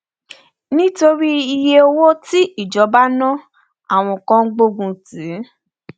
nítorí iyé owó tí ìjọba ná àwọn kan gbógun tì